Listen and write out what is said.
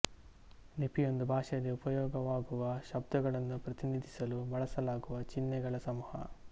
ಲಿಪಿ ಒಂದು ಭಾಷೆಯಲ್ಲಿ ಉಪಯೋಗವಾಗುವ ಶಬ್ದಗಳನ್ನು ಪ್ರತಿನಿಧಿಸಲು ಬಳಸಲಾಗುವ ಚಿಹ್ನೆಗಳ ಸಮೂಹ